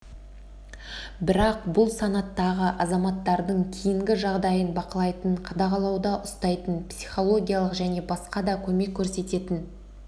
бірақ бұл санаттағы азаматтардың кейінгі жағдайын бақылайтын қадағалауда ұстайтын психологиялық және басқа да көмек көрсететін